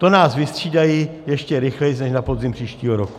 To nás vystřídají ještě rychleji než na podzim příštího roku.